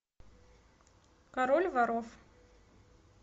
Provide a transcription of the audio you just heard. король воров